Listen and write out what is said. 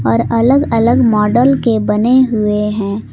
और अलग अलग मॉडल के बने हुए हैं।